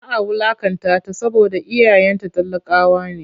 Za a wulaƙantata saboda iyayenta talakawa ne.